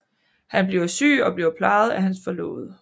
Han bliver syg og bliver plejet af hans forlovede